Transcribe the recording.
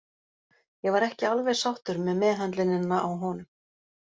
Ég var ekki alveg sáttur með meðhöndlunina á honum.